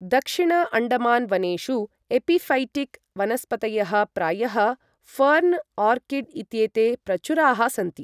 दक्षिण अण्डमान् वनेषु एपिऴैटिक् वनस्पतयः प्रायः फर्न्, आर्किड् इत्येते प्रचुराः सन्ति।